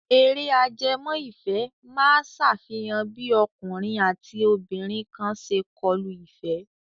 Eré ajẹmọ́-ìfẹ́ máa ṣàfihàn bí ọkùnrin àti obìnrin kan ṣe kọlu ìfẹ́.